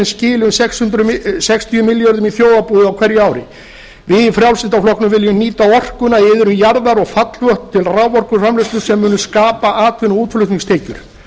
skilar sextíu milljörðum í þjóðarbúið á hverju ári við í frjálslynda flokknum viljum nýta orkuna í iðrum jarðar og fallvötn til raforkuframleiðslu sem mun skapa atvinnu og útflutningstekjur